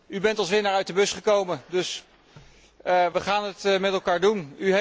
U bent als winnaar uit de bus gekomen, dus we gaan het met elkaar doen.